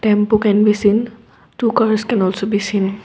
tempo can be seen two cars can also be seen.